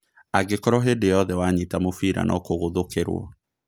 Angĩkorwo hĩnda yothe wanyita mũbira nokũgũthũkĩrwo